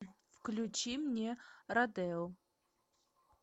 включи мне родео